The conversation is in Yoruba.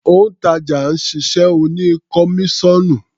Òǹtàjà náà ṣiṣẹ́ oní kọmíṣọ́ọ̀nù.